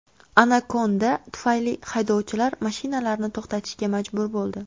Anakonda tufayli haydovchilar mashinalarini to‘xtatishga majbur bo‘ldi.